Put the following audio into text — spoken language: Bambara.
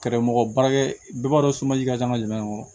Kɛrɛmɔgɔ baarakɛ bɛɛ b'a dɔn somaji ka ca an ka jamana in kɔnɔ